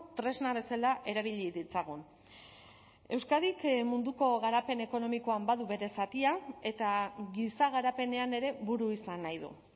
tresna bezala erabili ditzagun euskadik munduko garapen ekonomikoan badu bere zatia eta giza garapenean ere buru izan nahi du